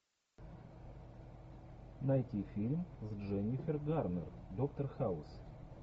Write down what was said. найти фильм с дженнифер гарнер доктор хаус